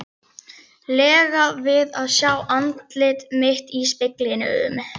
lega við að sjá andlit mitt í speglinum.